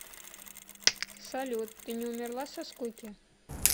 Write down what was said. салют ты не умерла со скуки